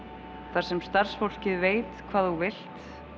þar sem starfsfólkið veit hvað þú vilt